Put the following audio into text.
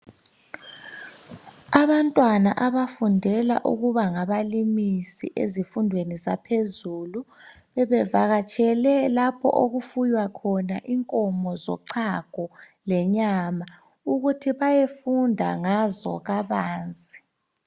Abantwana abafundela ukuba ngabalimisi ezifundweni zaphezulu bebevakatshele lapho okufuywa inkomo zochago lenyama ukuthi bayefunda ngazo kabanzi.